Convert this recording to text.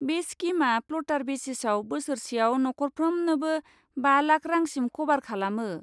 बे स्किमआ फ्ल'टार बेसिसआव बोसोरसेआव नखरफ्रामनोबो बा लाख रांसिम क'भार खालामो।